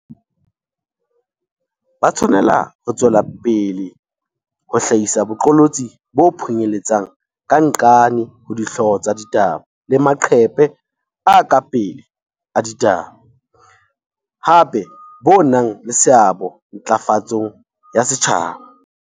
Ba tshwanela ho tswela pele ho hlahisa boqolotsi bo phunyeletsang ka nqane ho dihlooho tsa ditaba le maqephe a ka pele a ditaba, hape bo nang le seabo ntla fatsong ya setjhaba.